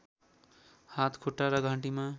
हात खुट्टा र घाँटीमा